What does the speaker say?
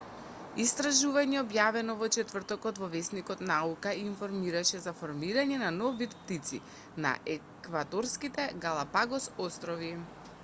истражување објавено во четвртокот во весникот наука информираше за формирање на нов вид птици на еквадорските галапагос острови